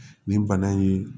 Nin bana in